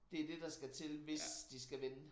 Det det der skal til hvis de skal vinde